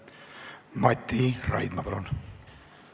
Mati Raidma, palun!